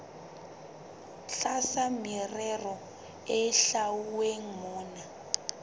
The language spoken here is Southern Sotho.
tlasa merero e hlwauweng mona